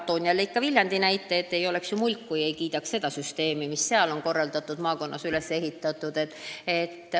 Toon jälle Viljandi näite – ma ei oleks ju mulk, kui ei kiidaks seda süsteemi, mis on selles maakonnas üles ehitatud.